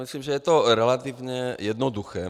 Myslím, že je to relativně jednoduché.